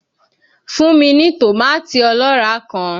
Fún mi ní tòmátì ọlọ́ràá kan!